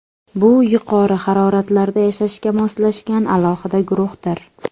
Bu yuqori haroratlarda yashashga moslashgan alohida guruhdir.